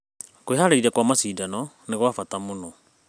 Kwĩharĩrĩria kũrĩ macindano nĩ gwa bata mũno.